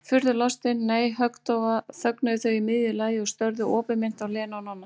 Furðulostin, nei, höggdofa þögnuðu þau í miðju lagi og störðu opinmynnt á Lenu og Nonna.